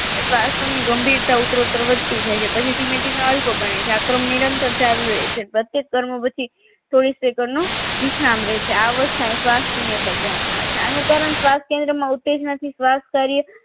શ્વાસ પરની ગંભીરતા ઉત્તરો ઉત્તર વધતી જાય છે પછી ધીમે ધીમે અલગો બને છે આશ્રમ નિરંતર ચાલુ રહે છે પ્રત્યેક કર્મો પછી ચોવીશ એકરનો વિશ્રામ રહે છે અહીં શ્વાસોશ્વાસની ગણાવવામાં આવે છે આનું કારણ સ્વાશ કેન્દ્ર તેમાં ઉત્તેજના થી શ્વાસ કાર્ય